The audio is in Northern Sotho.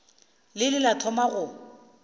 le ile la thoma go